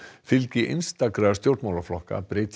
fylgi einstakra stjórnmálaflokka breytist